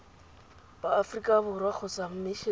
ba aforika borwa kgotsa mmisheneng